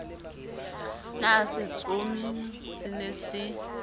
na setsomi se ne se